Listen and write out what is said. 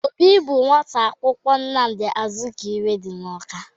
Obi bụ nwata akwụkwọ Nnamdị Azikiwe dị n'Ọka.